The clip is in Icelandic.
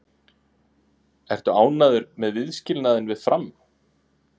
Ertu ánægður með viðskilnaðinn við Fram?